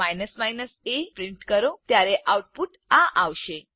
a print કરો ત્યારે output આ આવશે